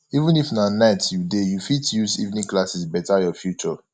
even if na night you dey you fit use evening classes beta your future